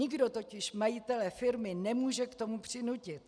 Nikdo totiž majitele firmy nemůže k tomu přinutit.